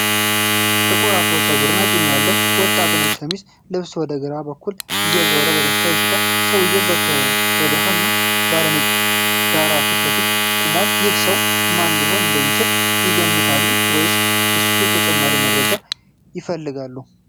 ጥቁር አፍሮ ፀጉር እና ጢም ያለው ወጣት ነጭ ሸሚዝ ለብሶ ወደ ግራ በኩል እየዞረ በደስታ ይስቃል። ሰውየው ከብርሃን ባለ አንድ ነጭ ዳራ ፊት ለፊት ቆሟል። ይህ ሰው ማን ሊሆን እንደሚችል ይገምታሉ ወይስ ስለ እሱ ተጨማሪ መረጃ ይፈልጋሉ?